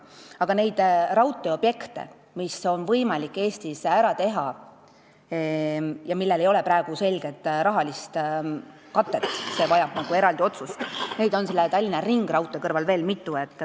Aga neid raudteeobjekte, mis on võimalik Eestis rajada ja millel ei ole praegu selget rahalist katet, on Tallinna ringraudtee kõrval veel mitu.